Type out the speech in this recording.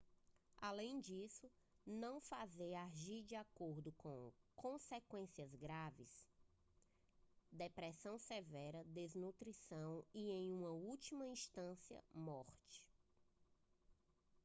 além disso não fazer agir de acordo gera consequências graves depressão severa desnutrição e em última instância morte